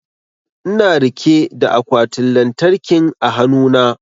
Ina rike da akwatin lantarkin a hanu na